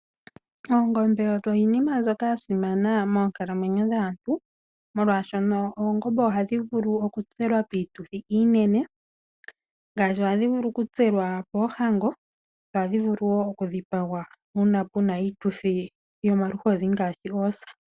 Oongombe odho iinima mbyono ya simana moonkalamwenyo dhaantu molwaashono ohadhi vulu oku tselwa piituthi iinene. Ohadhi vulu oku tselwa poohango, dho ohadhi vulu wo oku dhipagwa miituthi yomaluhodhi ngaashi poosa.